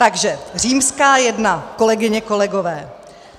Takže římská I, kolegyně, kolegové.